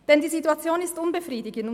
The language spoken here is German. Denn die Situation ist unbefriedigend.